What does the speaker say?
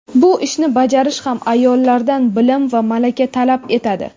bu ishni bajarish ham ayollardan bilim va malaka talab etadi.